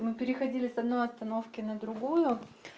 мы переходили с одной остановки на другую